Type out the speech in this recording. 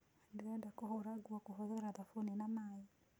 Ndĩrenda kũhũra nguo kũhũthira thabuni na maĩ